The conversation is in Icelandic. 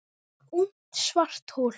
Ungt svarthol